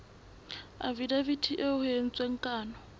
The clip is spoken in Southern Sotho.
afidaviti eo ho entsweng kano